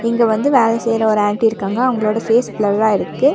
இங்க வந்து வேல செய்ற ஒரு ஆண்டி இருக்காங்க அவங்ளோட ஃபேஸ் ப்ளர்ரா இருக்கு.